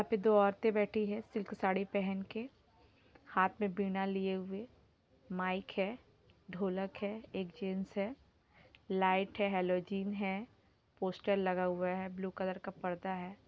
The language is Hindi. यहाँ पे दो औरतें बैठी है सिल्क साड़ी पहन के हाथ मे बिना लिए हुए माईक है ढोलक है एक जेंट्स है लाइट है हालोजिन है पोस्टर लगा हुआ है ब्लू कलर का पर्दा है।